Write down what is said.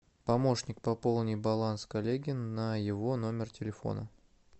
помощник пополни баланс коллеги на его номер телефона